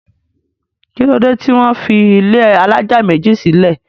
kí ló dé tí wọ́n fi ilé alájà méjì sílẹ̀?